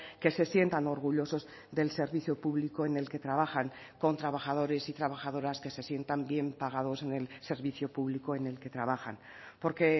que se sientan orgullosos del servicio público en el que trabajan con trabajadores y trabajadoras que se sientan bien pagados en el servicio público en el que trabajan porque